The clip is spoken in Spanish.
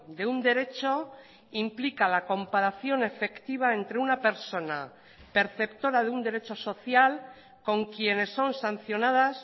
de un derecho implica la comparación efectiva entre una persona perceptora de un derecho social con quienes son sancionadas